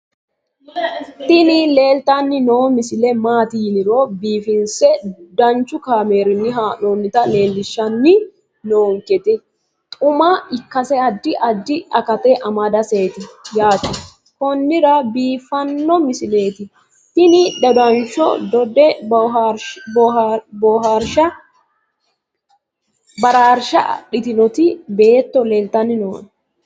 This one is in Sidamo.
tini leeltanni noo misile maaati yiniro biifinse danchu kaamerinni haa'noonnita leellishshanni nonketi xuma ikkase addi addi akata amadaseeti yaate konnira biiffanno misileeti tini dodanshsho dode baraarshsha adhitinoti beeetto leltanni nooe